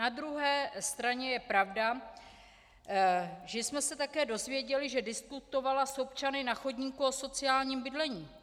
Na druhé straně je pravda, že jsme se také dozvěděli, že diskutovala s občany na chodníku o sociálním bydlení.